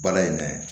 Baara in na